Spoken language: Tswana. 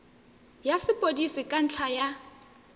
ya sepodisi ka ntlha ya